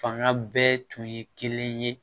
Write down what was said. Fanga bɛɛ tun ye kelen ye